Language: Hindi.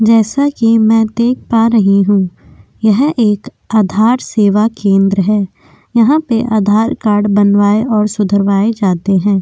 जैसा कि मैं देख पा रही हूं यह एक आधार सेवा केंद्र हैं। यहां पे आधार कार्ड बनवाए और सुधरवाए जाते हैं।